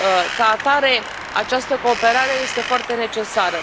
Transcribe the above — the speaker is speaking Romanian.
Ca atare, această cooperare este foarte necesară.